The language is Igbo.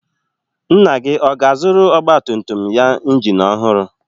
Nna gị ọ ga-azụrụ ọgbatumtum ya injin ọhụrụ?